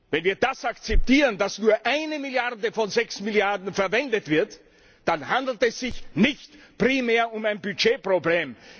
Wenn wir das akzeptieren, dass nur eine Milliarde von sechs Milliarden verwendet wird, dann handelt es sich nicht primär um ein Budgetproblem!